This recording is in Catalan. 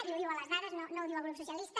i ho diuen les dades no ho diu el grup socialista